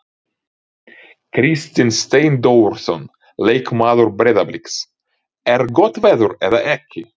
Kristinn Steindórsson leikmaður Breiðabliks: Er gott veður eða ekki?